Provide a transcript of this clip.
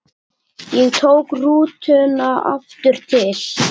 Ég tók rútuna aftur til